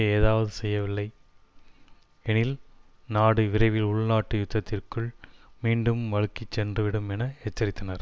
ஏதாவது செய்யவில்லை எனில் நாடு விரைவில் உள்நாட்டு யுத்தத்திற்குள் மீண்டும் வழுக்கிச்சென்றுவிடும் என எச்சரித்தனர்